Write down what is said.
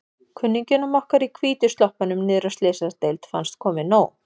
Kunningjum okkar í hvítu sloppunum niðri á Slysadeild fannst komið nóg.